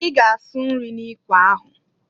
I ga asụ nri n'ikwe ahụ!